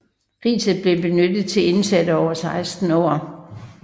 Riset blev benyttet til indsatte over 16 år